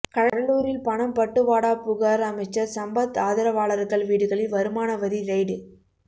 கடலூரில் பணம் பட்டுவாடா புகார் அமைச்சர் சம்பத் ஆதரவாளர்கள் வீடுகளில் வருமான வரி ரெய்டு